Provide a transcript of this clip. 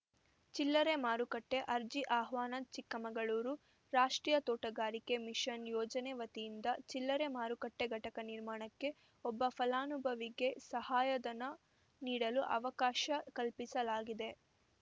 ಚಿಲ್ಲರೆ ಮಾರುಕಟ್ಟೆ ಅರ್ಜಿ ಆಹ್ವಾನ ಚಿಕ್ಕಮಗಳೂರು ರಾಷ್ಟ್ರೀಯ ತೋಟಗಾರಿಕೆ ಮಿಷನ್‌ ಯೋಜನೆ ವತಿಯಿಂದ ಚಿಲ್ಲರೆ ಮಾರುಕಟ್ಟೆಘಟಕ ನಿರ್ಮಾಣಕ್ಕೆ ಒಬ್ಬ ಫಲಾನುಭವಿಗೆ ಸಹಾಯಧನ ನೀಡಲು ಅವಕಾಶ ಕಲ್ಪಿಸಲಾಗಿದೆ